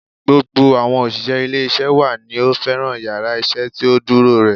Gbogbo àwọn òṣìṣẹ́ ilé isé wa ni ó fẹ́ràn yàrá isé tí ó dúró re